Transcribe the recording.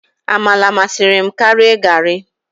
Amala masịrị m karia garri.